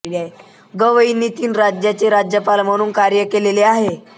गवईंनी तीन राज्यांचे राज्यपाल म्हणून कार्य केलेले आहे